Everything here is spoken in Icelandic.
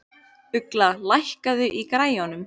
Ugla, lækkaðu í græjunum.